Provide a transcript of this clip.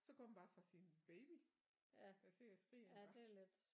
Så går hun bare fra sin baby der sidder og skriger iggå